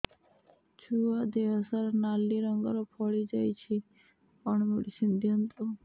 ଛୁଆ ଦେହ ସାରା ନାଲି ରଙ୍ଗର ଫଳି ଯାଇଛି କଣ ମେଡିସିନ ଦିଅନ୍ତୁ